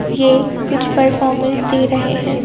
ये कुछ परफॉर्मेंस दे रहे हैं।